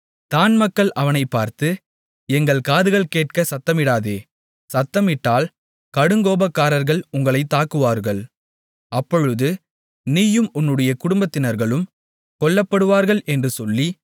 தாண் மக்கள் அவனைப் பார்த்து எங்கள் காதுகள் கேட்க சத்தமிடாதே சத்தமிட்டால் கடுங்கோபக்காரர்கள் உங்களைத் தாக்குவார்கள் அப்பொழுது நீயும் உன்னுடைய குடும்பத்தினர்களும் கொல்லப்படுவார்கள் என்று சொல்லி